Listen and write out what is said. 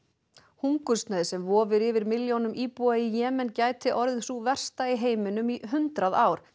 hungursneyð sem vofir yfir milljónum íbúa í Jemen gæti orðið sú versta í heiminum í hundrað ár